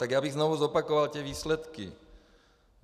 Tak já bych znova zopakoval ty výsledky.